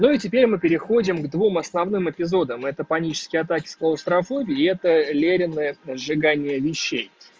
ну и теперь мы переходим к двум основным эпизодам это панические атаки с клаустрофобией и это леренное сжигание вещей